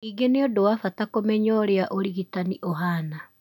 Ningĩ nĩ ũndũ wa bata kũmenya ũrĩa ũrigitani ũhaana.